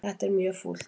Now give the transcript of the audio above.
Þetta er mjög fúlt.